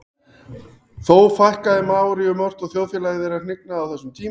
þó fækkaði maóríum ört og þjóðfélagi þeirra hnignaði á þessum tíma